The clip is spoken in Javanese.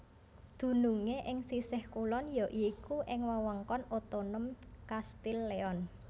Dunungé ing sisih kulon ya iku ing Wewengkon Otonom Castile Leon